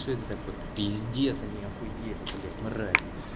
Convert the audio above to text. что это такое это пиздец они охуели мрази